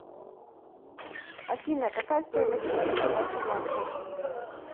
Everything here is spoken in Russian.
афина какая стоимость валюты в альфа банке